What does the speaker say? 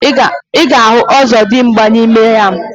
Iga ahụ ozodimgba na ime ya.